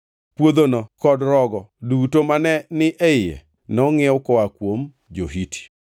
Puodhono kod rogo duto mane ni e iye nongʼiew koa kuom jo-Hiti.”